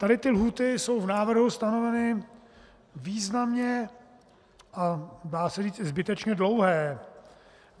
Tady ty lhůty jsou v návrhu stanoveny významně a dá se říct i zbytečně dlouhé.